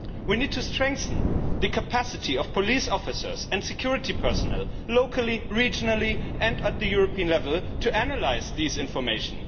We need to strengthen the capacity of police officers and security personnel locally, regionally and at European level to analyse this information.